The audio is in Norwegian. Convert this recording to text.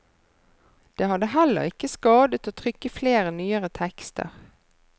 Det hadde heller ikke skadet å trykke flere nyere tekster.